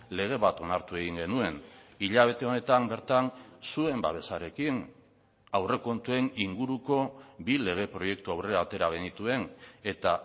lege bat onartu egin genuen hilabete honetan bertan zuen babesarekin aurrekontuen inguruko bi lege proiektu aurrera atera genituen eta